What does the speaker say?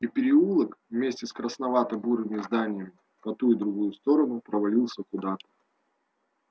и переулок вместе с красновато-бурыми зданиями по ту и другую сторону провалился куда-то